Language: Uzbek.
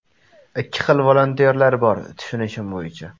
Ikki xil volontyorlar bor, tushunishim bo‘yicha.